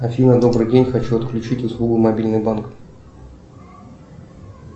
афина добрый день хочу отключить услугу мобильный банк